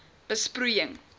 besproeiing